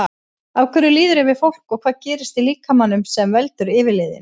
Af hverju líður yfir fólk og hvað gerist í líkamanum sem veldur yfirliðinu?